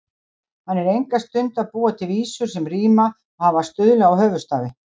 Hann er enga stund að búa til vísur sem ríma og hafa stuðla og höfuðstafi.